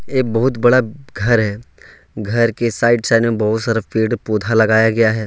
ये बहुत बड़ा घर है घर के साइड साइड में बहुत सारा पेड़-पौधा लगाया गया है।